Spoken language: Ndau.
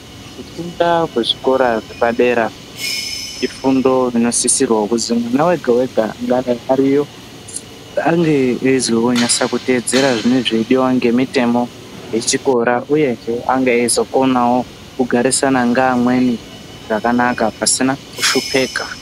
Kufunda kwezvikora zvepadera ifundo inosisirwa kuti mwana wega wega ange eizonyatso tevedzera zvinenge zveidiwa nemitemo yechikora uyezve ange eizokonawo kugarisana neamweni zvakanaka pasina kushupika.